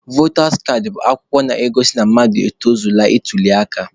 Votas kaadị bụ akwụkwọ na-egosi na mmadụ etozugo ịtuli aka.